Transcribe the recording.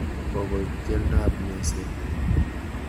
Kokoit keldab meset.